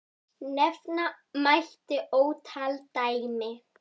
Nefna mætti ótal dæmi.